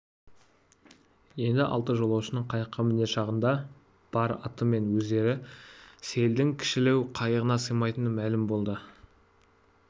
енді алты жолаушының қайыққа мінер шағында бар аты мен өздері сейілдің кішілеу қайығына сыймайтыны мәлім болды